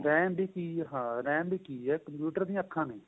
RAM ਵੀ ਕਿ ਏ computer ਦੀਆਂ ਅੱਖਾਂ ਨੇ